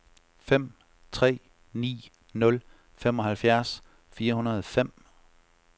fem tre ni nul femoghalvfjerds fire hundrede og fem